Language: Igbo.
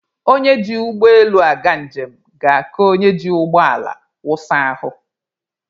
Onye ji ụgbọ elu aga njem ga-aka onye ji ụgbọ ala wụsa ahụ.